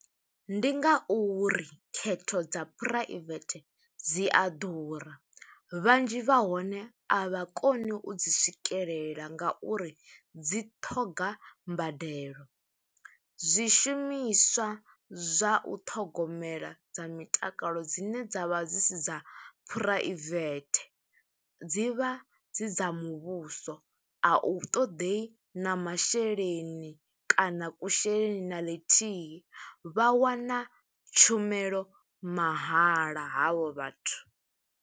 Ndi nga uri khetho dza private dzi a ḓura, vhanzhi vha hone a vha koni u dzi swikelela, nga uri dzi ṱhoga mbadelo. Zwishumiswa zwa u ṱhogomela dza mitakalo dzine dza vha dzi si dza phuraivethe, dzi vha dzi dza muvhuso, a u ṱoḓei na masheleni kana kusheleni na ḽithihi. Vha wana tshumelo mahala havho vhathu.